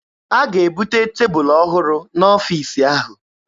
A ga-ebute tebụlụ ọhụrụ n'ọfiisi ahụ.